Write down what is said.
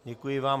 Děkuji vám.